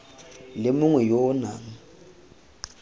le mongwe yo o nang